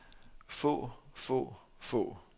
få få få